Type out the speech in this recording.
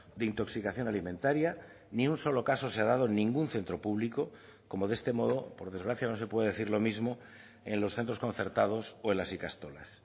de intoxicación alimentaria ni un solo caso se ha dado en ningún centro público como de este modo por desgracia no se puede decir lo mismo en los centros concertados o en las ikastolas